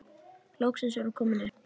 Loks er hún komin upp.